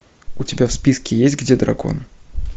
у тебя в списке есть где дракон